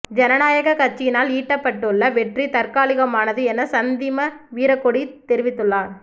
ஜனநாயக் கட்சியினால் ஈட்டபட்டுள்ள வெற்றி தற்காலிகமானது என சந்திம வீரக்கொடி தெரிவித்துள்ளார்